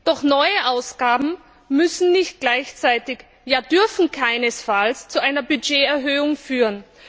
Doch neue Ausgaben müssen nicht gleichzeitig ja dürfen keinesfalls zu einer Budgeterhöhung führen.